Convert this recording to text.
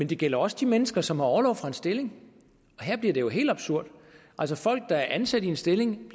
det gælder også de mennesker som har orlov fra en stilling og her bliver det jo helt absurd altså folk der er ansat i en stilling